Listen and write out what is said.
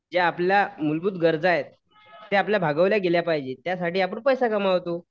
ज्या आपल्या मूलभूत गरजा आहेत, त्या आपल्याला भागवल्या गेल्या पाहिजेत. त्यासाठी आपण पैसा कमवतो.